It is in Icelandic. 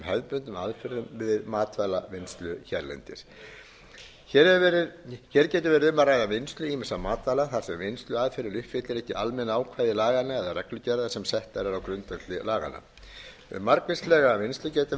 áfram ýmsum hefðbundnum aðferðum við matvælavinnslu hérlendis hér getur verið um að ræða vinnslu ýmissa matvæla þar sem vinnsluaðferðin uppfyllir ekki almenn ákvæði laganna eða reglugerða sem settar eru á grundvelli laganna um margvíslega vinnslu getur verið að ræða svo sem